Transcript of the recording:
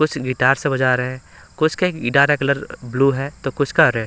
कुछ गिटार से बजा रहे हैं कुछ के गिटार का कलर ब्लू है तो कुछ का रे--